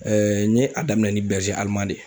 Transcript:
Ɛɛ n ye a daminɛ ni bɛrize aliman de ye